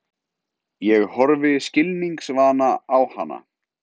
Ég horfi skilningsvana á hana.